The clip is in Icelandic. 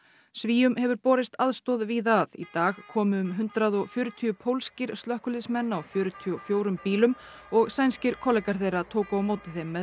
Svíum hefur borist aðstoð víða að í dag komu um hundrað og fjörutíu pólskir slökkviliðsmenn á fjörutíu og fjórum bílum og sænskir kollegar þeirra tóku á móti þeim með